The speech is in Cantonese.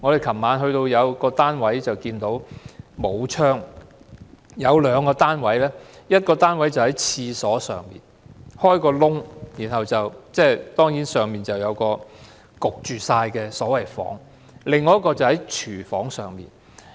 昨晚我們參觀過兩個沒有窗戶的單位，一個單位在廁所之上開個洞，上面就是一個悶熱的房間；另一個則建在廚房上面。